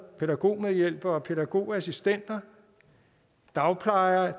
pædagogmedhjælpere og pædagogassistenter af dagplejere